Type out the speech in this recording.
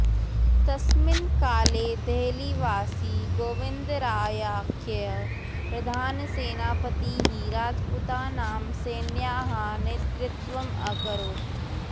तस्मिन् काले देहलीवासी गोविन्दरायाख्यः प्रधानसेनापतिः राजपूतानां सेनायाः नेतृत्वम् अकरोत्